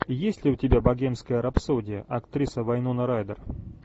есть ли у тебя богемская рапсодия актриса вайнона райдер